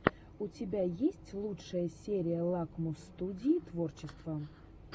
у тебя есть лучшая серия лакмус студии творчества